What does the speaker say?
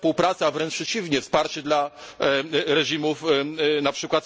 Zero współpracy, a wręcz przeciwnie wsparcie dla reżimów np.